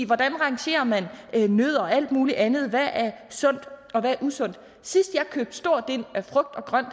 hvordan rangerer man nødder og alt muligt andet hvad er sundt og hvad er usundt sidst jeg købte stort ind af frugt og grønt